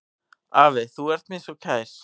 Afi, þú ert mér svo kær.